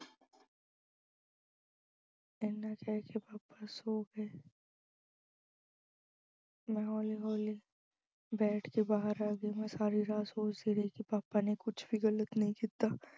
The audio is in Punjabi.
ਐਨੇ ਚਿਰ ਚ papa ਸੌ ਗਏ ਮੈਂ ਹੌਲੀ-ਹੌਲੀ ਬੈਠ ਕੇ ਬਾਹਰ ਆ ਗਈ, ਮੈਂ ਸਾਰੀ ਰਾਤ ਸੋਚਦੀ ਰਹੀ ਕਿ papa ਨੇ ਕੁੱਝ ਵੀ ਗਲਤ ਨਹੀਂ ਕੀਤਾ।